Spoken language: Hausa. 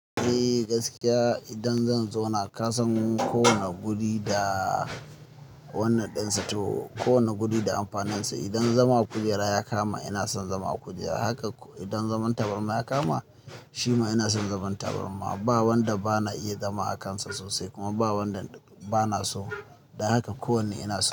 Eh gaskiya idan zan zauna ka san kowane guri da wannan ɗin sa to kowane guri da amfaninsa. Idan zama a kujera ya kama ina son zama a kujera, haka idan zaman tabarma ya kama shima ina son zaman tabarma. Ba wanda bana iya zama akansa sosai kuma ba wanda bana so. Dan haka kowanne ina so.